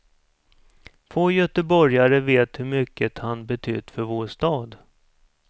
Få göteborgare vet hur mycket han betytt för vår stad.